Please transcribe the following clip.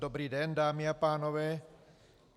Dobrý den, dámy a pánové.